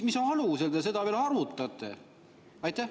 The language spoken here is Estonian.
Mis alusel te seda veel arutate?